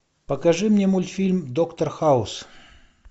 покажи мне мультфильм доктор хаус